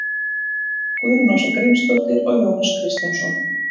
Guðrún Ása Grímsdóttir og Jónas Kristjánsson.